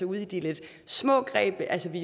ude i de lidt små greb altså vi